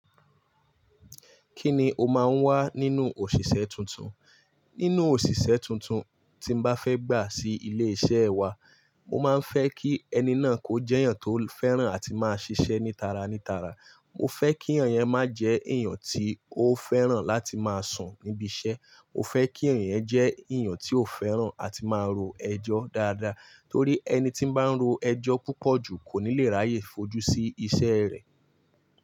Kíni o máa ń wá nínú òṣìṣẹ́ tuntun? Nínú òṣìṣẹ́ tuntun, tí n bá fẹ́ gbà sí ilé-iṣẹ́ wa, mo máa ń fẹ́ kí ẹni náà kó jẹ́ èèyàn tó fẹ́ràn àti máa ṣiṣẹ́ ní tara ní tara. Mo fẹ́ kí èèyàn yẹn máa jẹ́ èèyàn tí ó fẹ́ràn láti máa sùn níbi iṣẹ́. Mo fẹ́ kí èèyàn yẹn jẹ́ èèyàn tí ó fẹ́ràn àti máa ro ẹjọ́ dáadáa, torí ẹni tí ń bá ń ro ẹjọ́ púpọ̀ jù kò ní le ráyè fojú sí iṣẹ́ rẹ̀.